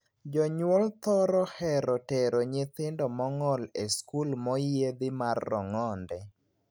Jonyuol thoro hero tero nyithindo mong'ol e skul moyiedhi mar rong'onde.